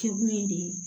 Kɛkun ye de